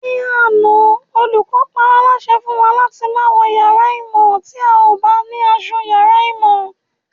Ní àná, olùkọ́ paálásẹ fún wa láti má wọ yàrá ìmọ̀ tí a ò bá ní asọ yàrá ìmọ̀